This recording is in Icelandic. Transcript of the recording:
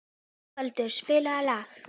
Ingveldur, spilaðu lag.